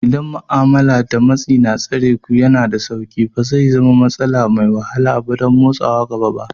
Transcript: Idan ma'amala da matsi na tsareku yana da sauƙi, ba zai zama matsala mai wahala ba don motsawa gaba ba.